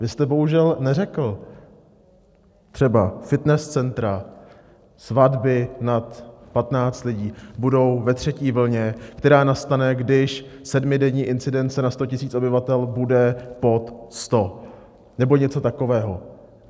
Vy jste bohužel neřekl, třeba fitness centra, svatby nad 15 lidí budou ve třetí vlně, která nastane, když sedmidenní incidence na 100 000 obyvatel bude pod 100 nebo něco takového.